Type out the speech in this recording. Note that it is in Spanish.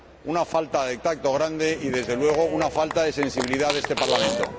una falta de tacto grande y, desde luego, una falta de sensibilidad de este Parlamento.